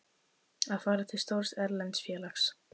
Að fara til stórs erlends félags?